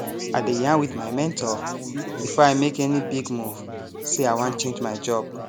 i dey yarn with my mentor before i make any big move say i wan change my job